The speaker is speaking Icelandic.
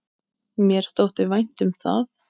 Mér þótti vænt um það.